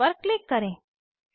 close पर click करें